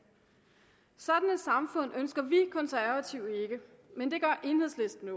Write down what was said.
sådan et samfund ønsker vi konservative ikke men det gør enhedslisten